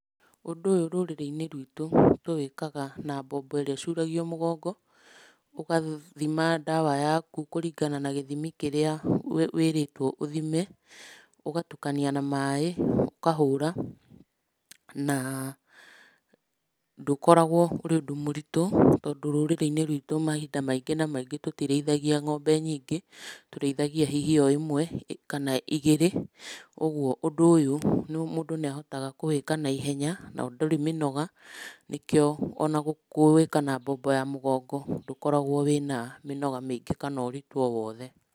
Ũndũ ũyũ rũrĩrĩ-inĩ rwitũ tũwĩkaga na mbombo ĩrĩa ĩcuragio mũgongo, ũgathima ndawa yaku kũringana na gĩthimi kĩrĩa wĩrĩtwo ũthime, ũgatukania na maĩ, ũkahũra, na ndũkoragũo ũrĩ ũndũ mũritũ, tondũ rũrĩrĩ-inĩ rwitũ mahinda maingĩ na maingĩ tũtirĩithagia ng'ombe nyingĩ, tũrĩithagia hihi o ĩmwe, kana igĩrĩ, ũguo ũndũ ũyũ mũndũ nĩ ahotaga kũwĩka na ihenya, na ũtarĩ mĩnoga, nĩkĩo o na kũwĩka na mbombo ya mũgongo ndũkoragũo wĩna mĩnoga mĩingĩ kana ũritũ o wothe.